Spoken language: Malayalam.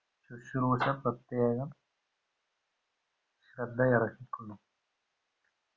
ശുശ്രൂഷ പ്രത്യേക ശ്രേദ്ധയേറക്കിക്കൊള്ളും